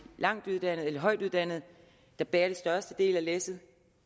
højtuddannede der bærer den største del af læsset